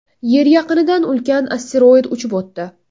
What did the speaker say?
Yer yaqinidan ulkan asteroid uchib o‘tdi .